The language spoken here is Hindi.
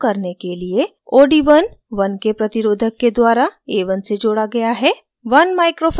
इस परिक्षण को करने के लिए od1 1k प्रतिरोधक के द्वारा a1 से जोड़ा गया है